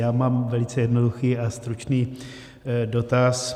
Já mám velice jednoduchý a stručný dotaz.